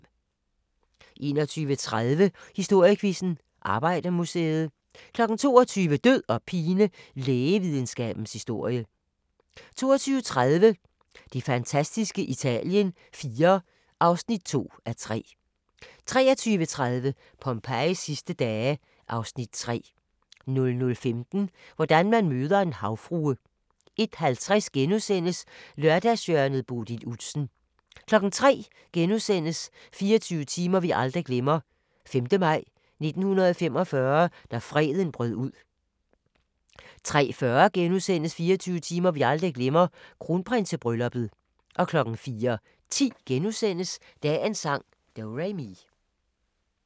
21:30: Historiequizzen: Arbejdermuseet 22:00: Død og pine: Lægevidenskabens historie 22:30: Det fantastiske Italien IV (2:3) 23:30: Pompejis sidste dage (Afs. 3) 00:15: Hvordan man møder en havfrue 01:50: Lørdagshjørnet - Bodil Udsen * 03:00: 24 timer vi aldrig glemmer: 5. maj 1945 – da freden brød ud * 03:40: 24 timer vi aldrig glemmer: Kronprinsebrylluppet * 04:10: Dagens sang: Do-re-mi *